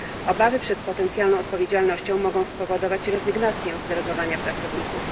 Obawy przed potencjalną odpowiedzialnością mogą spowodować rezygnację z delegowania pracowników.